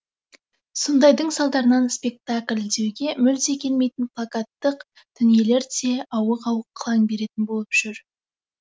сондайдың салдарынан спектакль деуге мүлде келмейтін плакаттық дүниелер де ауық ауық қылаң беретін болып жүр